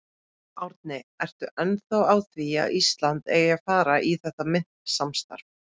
Árni, ertu ennþá á því að Ísland eigi að fara í þetta myntsamstarf?